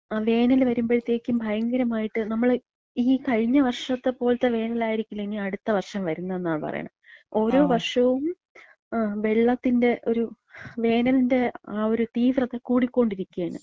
ങാ, വേനല് വരമ്പഴ്ത്തേക്ക് ഭയങ്കരായിട്ട് നമ്മള് ഈ കഴിഞ്ഞവർഷത്ത പോലത്ത വേനലായിരിക്കില്ല ഇനി അട്ത്ത വർഷം വര്ന്നതെന്നാ പറയണത്. ഓരോ വർഷവും, ആ, വെള്ളത്തിന്‍റെ ഒരു വേനൽന്‍റെ ആ ഒരു തീവ്രത കൂടിക്കൊണ്ടിരിക്ക്യാണ്.